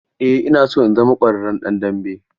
Eh ina so in zama ƙwararren ɗan dambe.